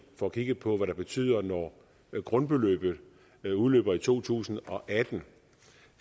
får kigget på hvad det betyder når grundbeløbet udløber i to tusind og atten og